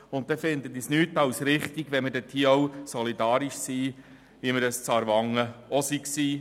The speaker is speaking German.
Daher finde ich es richtig, wenn wir hier solidarisch sind, wie wir es auch mit Aarwangen waren.